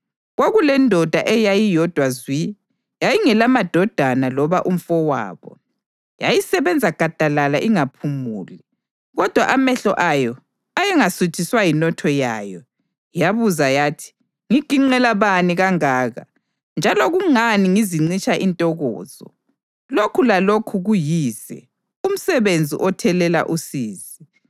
Kwakulendoda eyayiyodwa zwi; yayingelandodana loba umfowabo. Yayisebenza gadalala ingaphumuli, kodwa amehlo ayo ayengasuthiswa yinotho yayo. Yabuza yathi, “Ngiginqela bani kangaka, njalo kungani ngizincitsha intokozo?” Lokhu lakho kuyize umsebenzi othelela usizi!